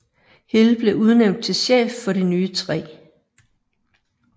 Hill blev udnævnt til chef for det nye 3